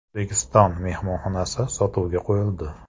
“O‘zbekiston” mehmonxonasi sotuvga qo‘yildi.